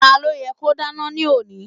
Ta ló yẹ́ kó dáná ní òní?